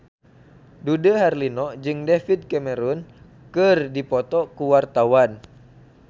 Dude Herlino jeung David Cameron keur dipoto ku wartawan